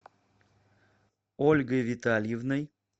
ольгой витальевной